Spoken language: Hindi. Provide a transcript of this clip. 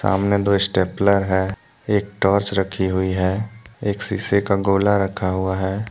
सामने दो स्टेपलर है एक टॉर्च रखी हुई है एक शीशे का गोला रखा हुआ है।